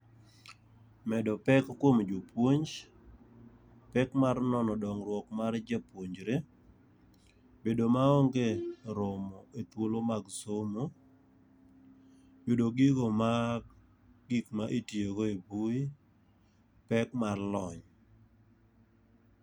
Medo pek kuom jopuonj, pek mar nono dongruok mar jopuonjre, bedo ma onge romo e thuolo mag somo. Yudo gigo ma gik ma itiyogo e mbui, pek mar lony.